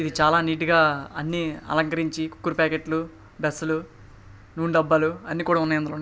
ఇది చాల నీట్ గా అన్నీ అలంకరించి కూకేడ్ ప్యాకెట్ లు డస్లూ నూనె డబ్బాలు అన్ని కూడా ఉన్నాయి అందులో.